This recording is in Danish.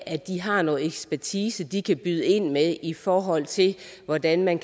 at de har noget ekspertise de kan byde ind med i forhold til hvordan man